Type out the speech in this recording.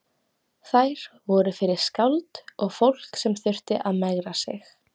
Þær voru fyrir skáld og fólk sem þurfti að megra sig.